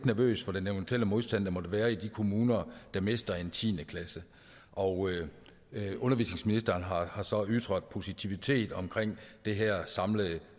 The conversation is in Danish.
nervøs for den eventuelle modstand der måtte være i de kommuner der mister en tiende klasse og undervisningsministeren har har så ytret positivitet omkring det her samlede